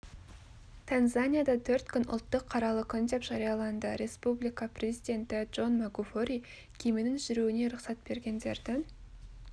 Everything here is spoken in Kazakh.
танзанияда төрт күн ұлттық қаралы күн деп жарияланды республика президенті джон магуфури кеменің жүруіне рұқсат бергендердің